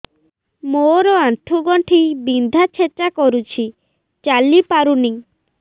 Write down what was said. ମୋର ଆଣ୍ଠୁ ଗଣ୍ଠି ବିନ୍ଧା ଛେଚା କରୁଛି ଚାଲି ପାରୁନି